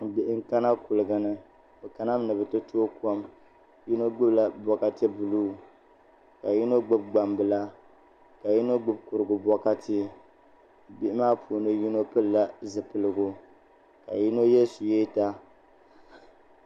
Bihi n kana kuligi ni bi kana mi ni bi ti tooi kom yino gbubila bokati buluu ka yino gbubi gbambila ka yino gbubi kurigu bokati bihi maa puuni yino gbubila zipiligu ka yino yɛ suyeeta